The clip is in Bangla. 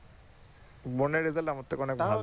বোনের আমার থেকে অনেক ভালো